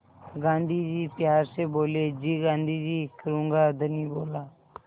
गाँधी जी प्यार से बोले जी गाँधी जी करूँगा धनी बोला